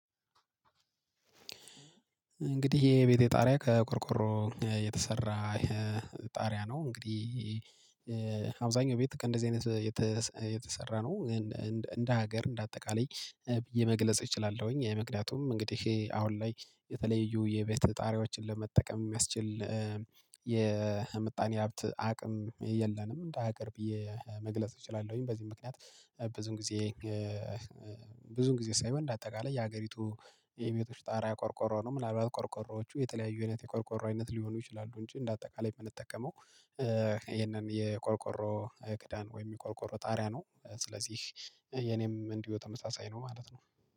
እንግዲህ የቤቴ ጣሪያ ከቆርቆሮ የተሰራ ጣሪያ ነው። እንግዲህ። አብዛኛው ቤት ከእንደዚህ አይነት የተሰራ ነው። እንደ ሀገር እንደ አጠቃላይ ብዬ መግለጽ እችላለሁኝ ምክንያቱም እንግዲህ አሁን ላይ የተለያዩ የቤተ ጣሪያዎችን ለመጠቀም የሚያስችል የምጣኔ ሀብት አቅም የለንም። እንደ ሀገር ብዬ መግለጽ እችላለሁኝ። በዚህ ምክንያት ብዙ ጊዜ። ብዙ ጊዜ ሳይሆን እንደ አጠቃላይ የሀገሪቱ የቤቶች ጣራ የቆርቆሮ ነው። ምናልባት ቆርቆሮዎቹ የተለያዩ አይነት የቆርቆሮ አይነት ሊሆኑ ይችላሉ። እንጂ እንደ አጠቃላይ የምንጠቀመው ይሄንን የቆርቆሮ ክዳን ወይም የቆርቆሮ ጣሪያ ነው። ስለዚህ የእኔም እንዲሁ ተመሳሳይ ነው ማለት ነው።